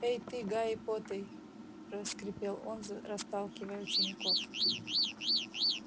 эй ты гайи поттей проскрипел он расталкивая учеников